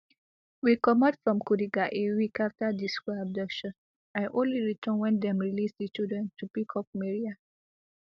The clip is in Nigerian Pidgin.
we comot from kuriga a week after di school abduction i only return wem dem release di children to pick up mariam